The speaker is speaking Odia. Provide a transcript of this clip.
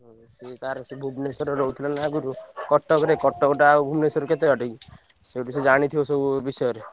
ହଁ ସିଏ ତାର ସେଇ ଭୁବନେଶ୍ବରରେ ରହୁଥିଲା ନା ଆଗୁରୁ କଟକରେ କଟକଟା ଆଉ ଭୁବନେଶ୍ବର କେତେ ବାଟ କି? ସେଇଠୁ ସେ ଜାଣିଥିବ ସବୁ ବିଷୟରେ।